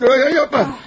Yox, yox, yapma!